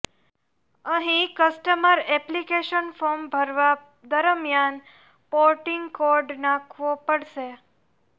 અહીં customer application form ભરવાં દરમિયાન પોર્ટિંગ કોડ નાખવો પડશે